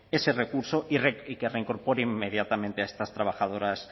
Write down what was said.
ese recurso y que reincorpore inmediatamente a estas trabajadoras